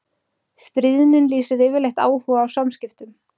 Stríðnin lýsir yfirleitt áhuga á samskiptum.